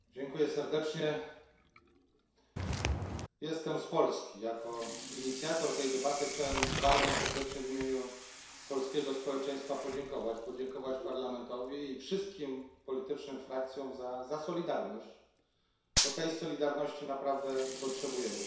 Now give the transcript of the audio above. Pani Przewodnicząca! Jestem z Polski. Jako inicjator tej debaty chciałbym bardzo serdecznie w imieniu polskiego społeczeństwa podziękować Parlamentowi i wszystkim politycznym frakcjom za solidarność, bo tej solidarności naprawdę potrzebujemy.